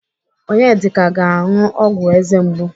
Onyedika ga-anụ ọgwụ eze mgbu.